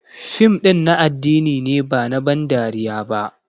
Fim ɗin na addini ne ba na ban dariya ba.